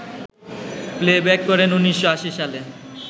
playback করেন ১৯৮০ সালে